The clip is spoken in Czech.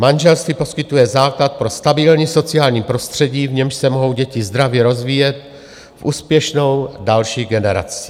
Manželství poskytuje základ pro stabilní sociální prostředí, v němž se mohou děti zdravě rozvíjet v úspěšnou další generaci.